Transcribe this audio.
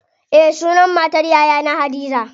Eh sunan matar yayana hadiza.